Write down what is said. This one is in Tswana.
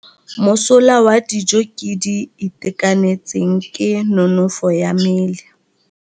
Mosola wa dijô tse di itekanetseng ke nonôfô ya mmele.